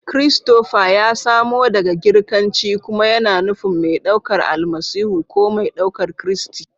Christopher ya samo daga Girkanci kuma yana nufin "mai ɗaukar Almasihu" ko "mai ɗaukar Kristi."